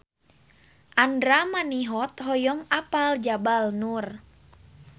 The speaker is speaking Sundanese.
Andra Manihot hoyong apal Jabal Nur